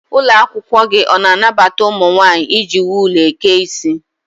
Ụlọakwụkwọ gị ọ na-anabata ụmụ nwaanyị iji wul eke isi?